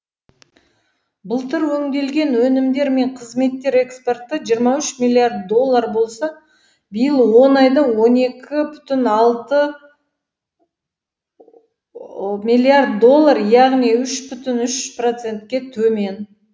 былтыр өңделген өнімдер мен қызметтер экспорты жиырма үш миллиард доллар болса биыл он айда он екі бүтін алты миллиард доллар яғни үш бүтін үш процентке төмен